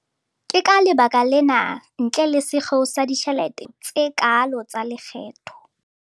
Ke ka lebaka lena, ntle le sekgeo sa ditjhelete, ho seng dikeketso tse kaalo tsa lekgetho.